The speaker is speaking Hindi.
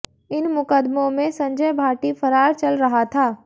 इन मुकदमों में संजय भाटी फरार चल रहा था